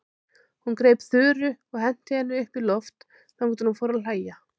Hún greip Þuru og henti henni upp í loft þangað til hún fór að hlæja.